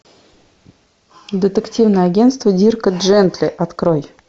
детективное агентство дирка джентли открой